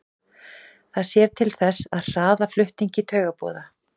Það sér til þess að hraða flutningi taugaboða.